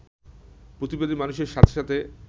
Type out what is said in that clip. প্রতিবাদী মানুষের সাথে সাথে